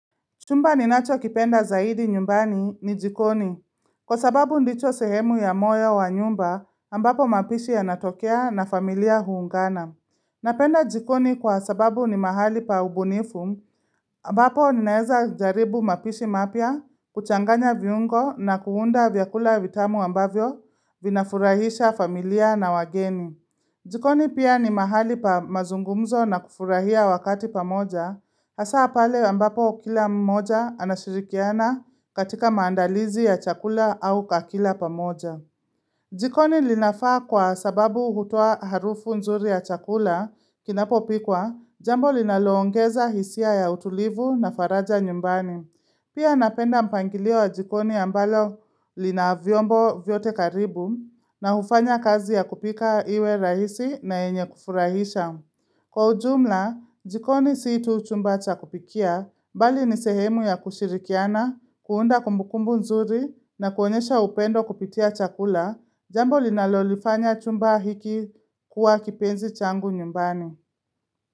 Chumba ninacho kipenda zaidi nyumbani ni jikoni, kwa sababu ndicho sehemu ya moyo wa nyumba ambapo mapishi ya natokea na familia huungana. Napenda jikoni kwa sababu ni mahali pa ubunifu ambapo ninaeza jaribu mapishi mapia, kuchanganya viungo na kuunda vyakula vitamu ambavyo vinafurahisha familia na wageni. Jikoni pia ni mahali pa mazungumzo na kufurahia wakati pamoja, hasa pale ambapo kila mmoja anashirikiana katika maandalizi ya chakula au kakila pamoja. Jikoni linafaa kwa sababu uhutua harufu nzuri ya chakula kinapo pikwa, jambo linaloongeza hisia ya utulivu na faraja nyumbani. Pia napenda mpangilio wa jikoni ambalo lina vyombo vyote karibu na hufanya kazi ya kupika iwe rahisi na eynye kufurahisha. Kwa ujumla, jikoni si tu chumba chakupikia, bali nisehemu ya kushirikiana, kuunda kumbukumbu nzuri na kuonyesha upendo kupitia chakula, jambo linalolifanya chumba hiki kuwa kipenzi changu nyumbani.